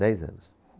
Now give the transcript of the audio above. Dez anos.